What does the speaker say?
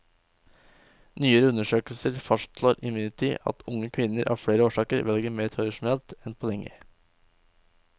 Nyere undersøkelser fastslår imidlertid at unge kvinner av flere årsaker velger mer tradisjonelt enn på lenge.